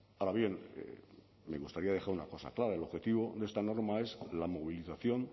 ahora bien me gustaría dejar una cosa clara el objetivo de esta norma es la movilización